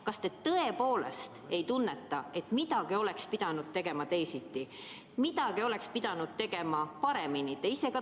Kas te tõepoolest ei tunneta, et midagi oleks pidanud tegema teisiti, midagi oleks pidanud tegema paremini?